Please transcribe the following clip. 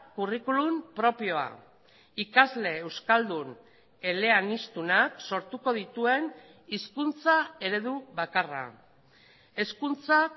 curriculum propioa ikasle euskaldun eleaniztunak sortuko dituen hizkuntza eredu bakarra hezkuntza